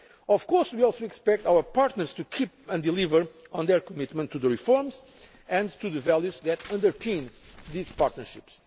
by everyone. Of course, we also expect our partners to adhere to and deliver on their commitment to the reforms and to the values that underpin these